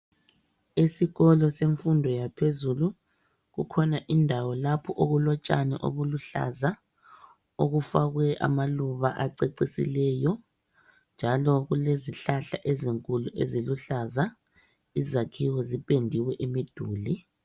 Esikolo semfundo yaphezulu kukhona indawo lapho okulotshani obuluhlaza okufakwe amaluba acecisileyo njalo kulezihlahla ezinkulu eziluhlaza izakhiwo zipendiwe imiduli.